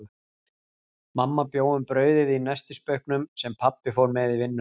Mamma bjó um brauðið í nestisbauknum, sem pabbi fór með í vinnuna.